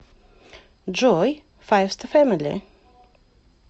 джой файвста фэмили